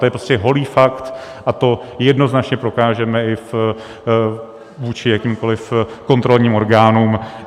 To je prostě holý fakt a to jednoznačně prokážeme i vůči jakýmkoliv kontrolním orgánům.